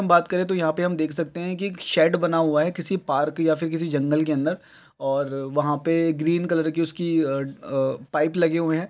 हम बात करें तो यहाँ पर हम देख सकते हैं कि शेड बना हुआ है किसी पार्क या फिर किसी जंगल के अंदर और वहाँ पर ग्रीन कलर की उसकी अ अ पाइप लगे हुए हैं।